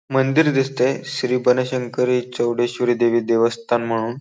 मंदिर दिसतय श्री बनशंकरी चौडेश्वरी देवी देवस्थान म्हणून.